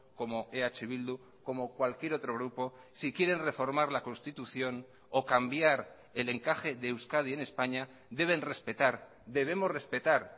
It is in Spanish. como eh bildu como cualquier otro grupo si quieren reformar la constitución o cambiar el encaje de euskadi en españa deben respetar debemos respetar